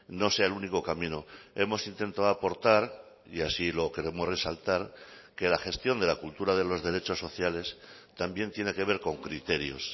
no sea el único camino hemos intentado aportar y así lo queremos resaltar que la gestión de la cultura de los derechos sociales también tiene que ver con criterios